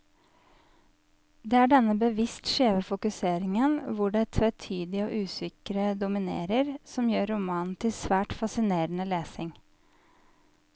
Det er denne bevisst skjeve fokuseringen, hvor det tvetydige og usikre dominerer, som gjør romanen til svært fascinerende lesning.